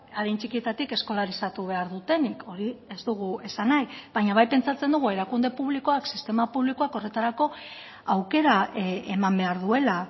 adin txikietatik eskolarizatu behar dutenik hori ez dugu esan nahi baina bai pentsatzen dugu erakunde publikoak sistema publikoak horretarako aukera eman behar duela